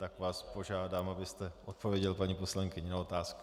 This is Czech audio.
Tak vás požádám, abyste odpověděl paní poslankyni na otázku.